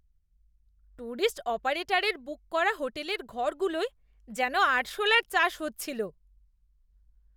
Tourist অপারেটারের book করা হোটেলের ঘরগুলোয় যেন আরশোলার চাষ হচ্ছিল!